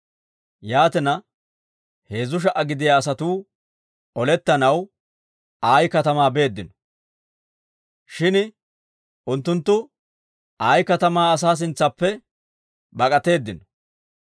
Yaatina, heezzu sha"a gidiyaa asatuu olettanaw Ayi katamaa beeddino. Shin unttunttu Ayi katamaa asaa sintsaappe bak'atteedino.